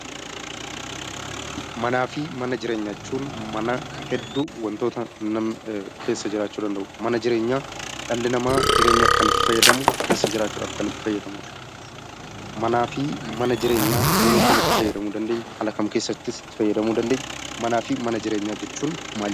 Manaa fi mana jireenyaa jechuun mana hedduu waantota namni keessa jiraachuu danda'u, mana jireenyaa dhalli namaa jireenyaaf kan itti fayyadamu , keessa jiraachuuf kan itti fayyadamudha. Manaa fi mana jireenyaa yeroo kam itti fayyadamu dandeenya? Manaa fi mana jireenyaa jechuun maal jechuudha?